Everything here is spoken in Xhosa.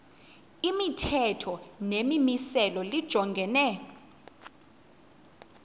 imithetho nemimiselo lijongene